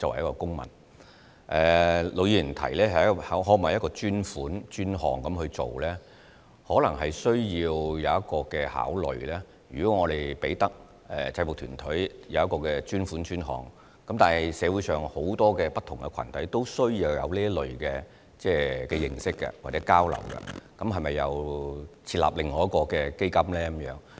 陸議員提出可否以專款專項來處理，我們可能需要詳加考慮，便是如果我們為制服團體提供專款專項，而社會上很多不同群體也需要有這類的認識或交流的話，那麼是否又要設立另一些專項基金呢？